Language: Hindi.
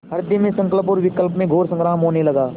हृदय में संकल्प और विकल्प में घोर संग्राम होने लगा